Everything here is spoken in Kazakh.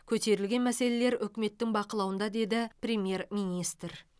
көтерілген мәселелер үкіметтің бақылауында деді премьер министр